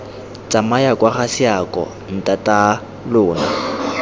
tsamaya kwa ga seako ntataalona